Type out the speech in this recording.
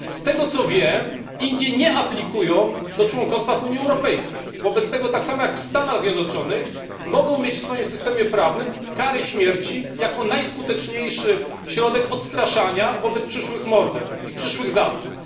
Z tego, co wiem, Indie nie aplikują do członkostwa w Unii Europejskiej. Wobec tego, tak samo jak Stany Zjednoczone, mogą mieć w swoim systemie prawnym karę śmierci jako najskuteczniejszy środek odstraszania od popełnienia w przyszłości morderstwa czy zabójstwa.